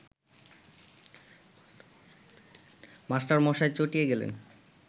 মাস্টারমহাশয় চটিয়া গেলেন